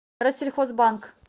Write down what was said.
россельхозбанк